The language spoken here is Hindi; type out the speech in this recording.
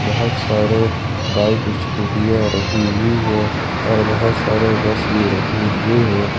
बहुत सारे बाइक स्कूटी आ रही है और बहुत सारे बस भी रखे हुए हैं।